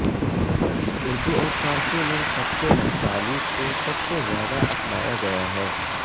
اردو اور فارسی میں خط نستعلیق کو سب سے زیادہ اپنایا گیا ہے